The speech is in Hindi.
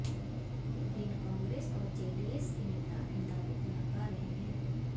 लेकिन कांग्रेस और जेडीएस के नेता इन दावों को नकार रहे हैं